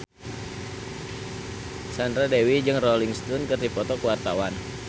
Sandra Dewi jeung Rolling Stone keur dipoto ku wartawan